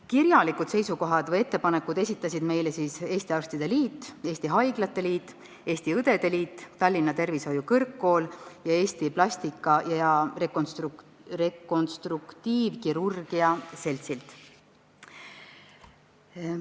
Kirjalikud seisukohad või ettepanekud esitasid meile Eesti Arstide Liit, Eesti Haiglate Liit, Eesti Õdede Liit, Tallinna Tervishoiu Kõrgkool ning Eesti Plastika- ja Rekonstruktiivkirurgia Selts.